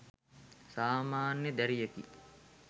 සාමාන්‍ය දැරියකි